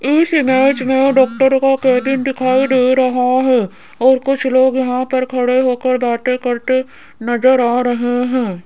इस इमेज में डॉक्टर का केबिन दिखाई दे रहा हैं और कुछ लोग यहां पर खड़े होकर बातें करते नजर आ रहे हैं।